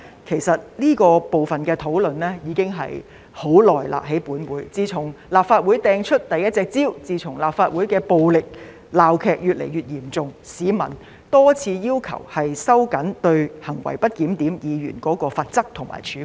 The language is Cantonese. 其實，這個部分的討論已經在本會進行了很久，自從有議員在立法會擲出了第一隻香蕉後，自從立法會的暴力鬧劇越來越嚴重後，市民已經多次要求我們收緊對行為不檢點議員的罰則和處分。